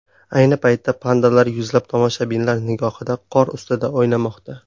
Ayni paytda pandalar yuzlab tomoshabinlar nigohida qor ustida o‘ynamoqda.